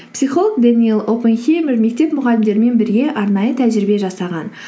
психолог дэниэл опенхеймер мектеп мұғалімдерімен бірге арнайы тәжірибе жасаған